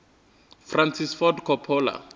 francis ford coppola